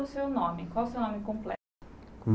o seu nome completo? Qual o seu nome completo Hum